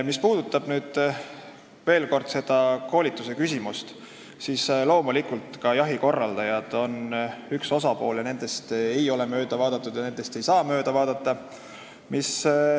Mis puudutab veel seda koolitust, siis loomulikult, ka jahikorraldajad on siin üks osapool, nendest ei ole mööda vaadatud ja nendest ei saa mööda vaadata.